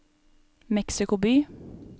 Mexico by